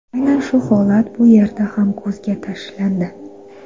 Aynan shu holat bu yerda ham ko‘zga tashlandi.